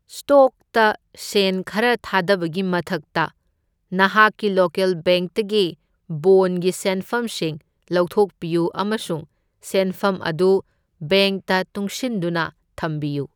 ꯁ꯭ꯇꯣꯛꯇ ꯁꯦꯟ ꯈꯔ ꯊꯥꯗꯕꯒꯤ ꯃꯊꯛꯇ, ꯅꯍꯥꯛꯀꯤ ꯂꯣꯀꯦꯜ ꯕꯦꯡꯛꯇꯒꯤ ꯕꯣꯟꯒꯤ ꯁꯦꯟꯐꯝꯁꯤꯡ ꯂꯧꯊꯣꯛꯄꯤꯌꯨ ꯑꯃꯁꯨꯡ ꯁꯦꯟꯐꯝ ꯑꯗꯨ ꯕꯦꯡꯛꯇ ꯇꯨꯡꯁꯤꯟꯗꯨꯅ ꯊꯝꯕꯤꯌꯨ꯫